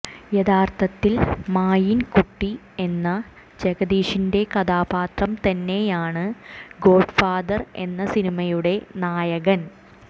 യഥാർഥത്തിൽ മായിൻകുട്ടി എന്ന ജഗദീഷിന്റെ കഥാപാത്രം തന്നെയാണ് ഗോഡ്ഫാദർ എന്ന സിനിമയുടെ നായകൻ